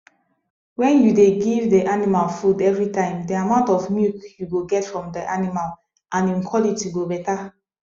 when you dey give de animal food everytime de amount of milk you go get from de animal and em quality go better